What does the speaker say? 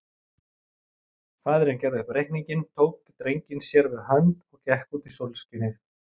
Faðirinn gerði upp reikninginn, tók drenginn sér við hönd og gekk út í sólskinið.